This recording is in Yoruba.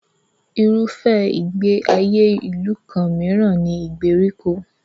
Irúfẹ́ ìgbé ayé ìlú kan mìíràn ni ìgbèríko.